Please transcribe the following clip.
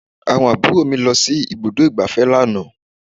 Àwọn àbúrò mi lọ sí ibùdó ìgbáfẹ́ lánàá